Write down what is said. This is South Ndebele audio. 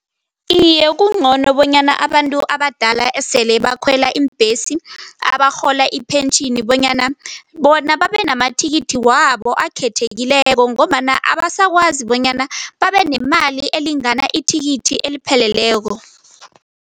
Iye, kungcono bonyana abantu abadala esele bakhwela iimbhesi, abarhola ipentjhini bonyana bona babenamathikithi wabo akhethekileko ngombana abasakwazi bonyana babenemali elingana ithikithi elipheleleko.